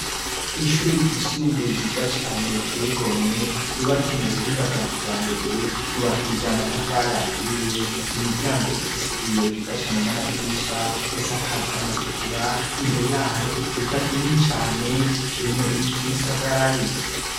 Ishure ryisumbuye giza cane tego mwe rubatse mu buhinga bwa kija mbere yubakija amatafale aturiye imiryango ifise ibiyo vyiza cane n'amadirisha risakaje amategura imbere ya haro ikibuga kinini cane kirimwo ibiti bisagaraye.